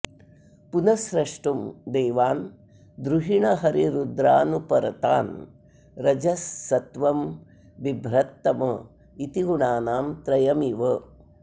पुनः स्रष्टुं देवान् द्रुहिणहरिरुद्रानुपरतान् रजः सत्त्वं बिभ्रत्तम इति गुणानां त्रयमिव